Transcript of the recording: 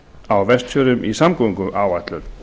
á vestfjörðum í samgönguáætlun